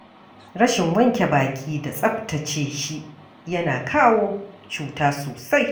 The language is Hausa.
Rashin wanke baki da tsaftace shi yana kawo cuta sosai.